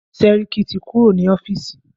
Sẹ́ríkí ti kúrò ní ọ́fìsì.